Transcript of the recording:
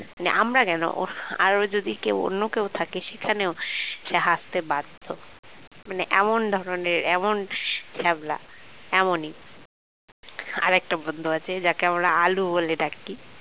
মানে আমরা কেন ওর আরো যদি কেউ অন্য কেউ থাকে সেখানেও সে হাসতে বাধ্য মানে এমন ধরনের এমন ছ্যাবলা এমনই আর একটা বন্ধু আছে যাকে আমরা আলু বলে ডাকি